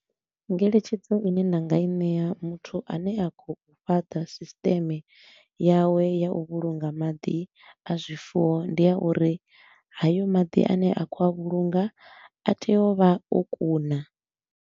Ngeletshedzo i ne nda nga i ṋea muthu a ne a khou fhaṱa sisteme yawe ya u vhulunga maḓi a zwifuwo, ndi ya uri hayo maḓi a ne a khou a vhulunga a tea u vha o kuna.